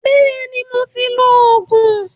Bẹ́ẹ̀ni, mo ti lo Ògùn